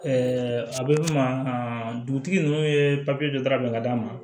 a bɛ f'o ma dugutigi ninnu ye papiye dɔ da ka d'a ma